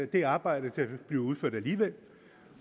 det arbejde ville blive udført alligevel